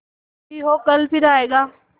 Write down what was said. जो भी हो कल फिर आएगा